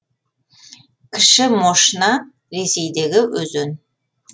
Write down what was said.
кіші мошна ресейдегі өзен